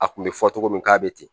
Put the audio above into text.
A kun bɛ fɔ cogo min k'a bɛ ten